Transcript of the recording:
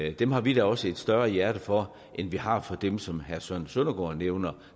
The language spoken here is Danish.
og dem har vi da også et større hjerte for end vi har for dem som herre søren søndergaard nævner